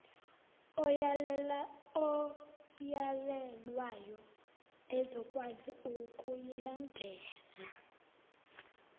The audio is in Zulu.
oyalelwayo ezokwazi ukuyilandela